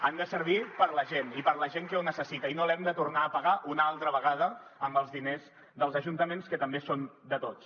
han de servir per a la gent i per a la gent que ho necessita i no els hem de tornar a pagar una altra vegada amb els diners dels ajuntaments que també són de tots